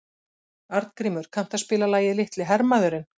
Arngrímur, kanntu að spila lagið „Litli hermaðurinn“?